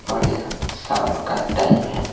और यह शाम का टाइम है।